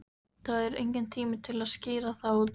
Það er enginn tími til að skýra það út.